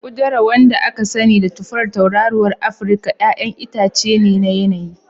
Udara, wanda kuma aka sani da tufar tauraruwar Afirka, 'ya'yan itace ne na yanayi.